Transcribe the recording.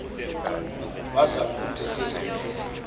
wazama ukumthethisa akufika